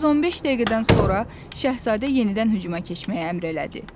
Düz 15 dəqiqədən sonra Şahzadə yenidən hücuma keçməyi əmr elədi.